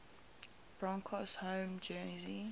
broncos home jersey